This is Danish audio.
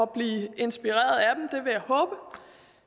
blive inspireret